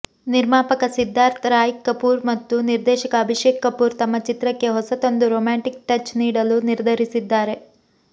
ನಿರ್ಮಾಪಕ ಸಿದ್ಧಾರ್ಥ ರಾಯ್ ಕಪೂರ್ ಮತ್ತು ನಿರ್ದೇಶಕ ಅಭಿಷೇಕ್ ಕಪೂರ್ ತಮ್ಮ ಚಿತ್ರಕ್ಕೆ ಹೊಸತೊಂದು ರೋಮ್ಯಾಂಟಿಕ್ ಟಚ್ ನೀಡಲು ನಿರ್ಧರಿಸಿದ್ದಾರೆ